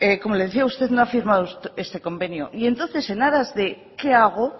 como le decía usted no ha firmado este convenio y entonces en aras de qué hago